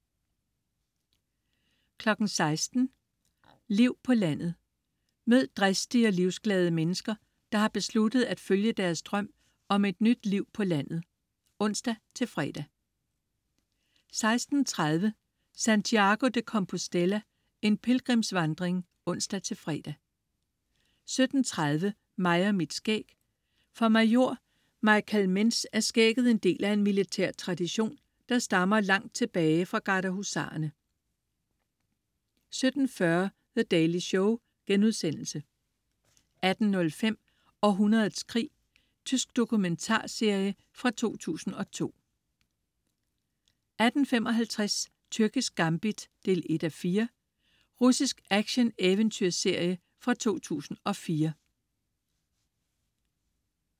16.00 Liv på landet. Mød dristige og livsglade mennesker, der har besluttet at følge deres drøm om et nyt liv på landet (ons-fre) 16.30 Santiago de Compostela, en pilgrimsvandring (ons-fre) 17.30 Mig og mit skæg. For major Michael Mentz er skægget en del af en militær tradition, der stammer langt tilbage fra garderhusarerne 17.40 The Daily Show* 18.05 Århundredets krig. Tysk dokumentarserie fra 2002 18.55 Tyrkisk gambit 1:4. Russisk action-eventyrserie fra 2004